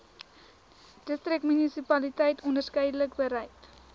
distriksmunisipaliteit onderskeidelik bereid